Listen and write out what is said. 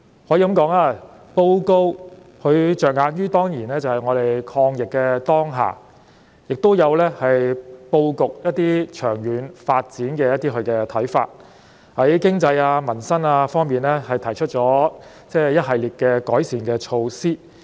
施政報告可以說是着眼於抗疫的當下，亦表述了一些有關長遠發展布局的看法，並且在經濟及民生方面，提出了一系列的改善措施。